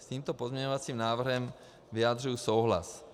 S tímto pozměňovacím návrhem vyjadřuji souhlas.